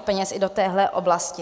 peněz i v této oblasti.